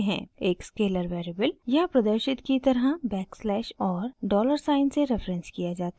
एक scalar variable यहाँ प्रदर्शित की तरह बैकस्लैश और डॉलर साइन से रेफरेन्स किया जाता है